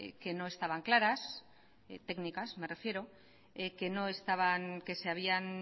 que no estaban claras técnicas me refiero que no estaban que se habían